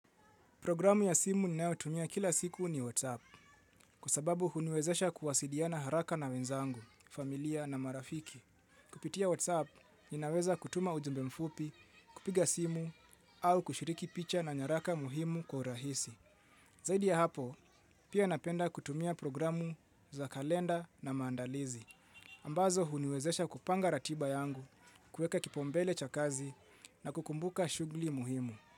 Programu ya simu ninayo tumia kila siku ni WhatsApp kwa sababu huniwezesha kuwasiliana haraka na wenzangu, familia na marafiki. Kupitia WhatsApp, ninaweza kutuma ujumbe mfupi, kupiga simu au kushiriki picha na nyaraka muhimu kwa urahisi. Zaidi ya hapo, pia napenda kutumia programu za kalenda na maandalizi. Ambazo huniwezesha kupanga ratiba yangu, kuweka kipaumbele cha kazi na kukumbuka shughuli muhimu.